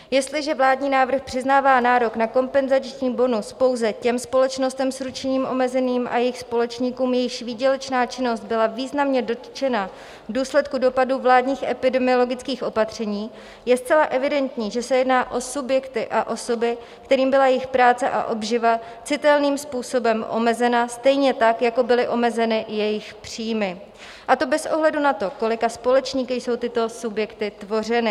Jestliže vládní návrh přiznává nárok na kompenzační bonus pouze těm společnostem s ručením omezeným a jejich společníkům, jejichž výdělečná činnost byla významně dotčena v důsledku dopadu vládních epidemiologických opatření, je zcela evidentní, že se jedná o subjekty a osoby, kterým byla jejich práce a obživa citelným způsobem omezena, stejně tak jako byly omezeny jejich příjmy, a to bez ohledu na to, kolika společníky jsou tyto subjekty tvořeny.